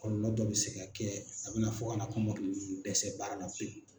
Kɔlɔlɔ dɔ bɛ se ka kɛ a bɛna fɔ ka na kɔmɔkili ninnu bɛ dɛsɛ baarala pewu.